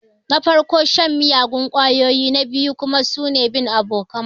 Na farko shan miyagun ƙwayoyi na biyu kuma bin abokan banza.